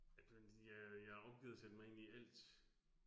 At man ja, jeg har opgivet at sætte mig ind i alt